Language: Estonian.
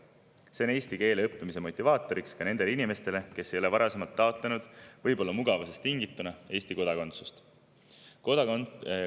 See on eesti keele õppimise motivaator ka nendele inimestele, kes ei ole varasemalt, võib-olla mugavusest tingituna, Eesti kodakondsust taotlenud.